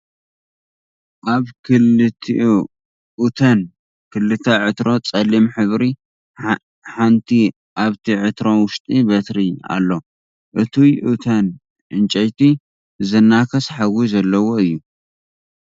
ኣብ ክልተ ኡተን ክልተ ዕትሮ ፀሊም ሕብሪ ሓንቲ ኣብቲ ዕትሮ ውሽጢ በትሪ ኣሎ እቱይ ኡተን ዕንጨይቲ ዝናከስ ሓዊ ዘለዎ እዩ።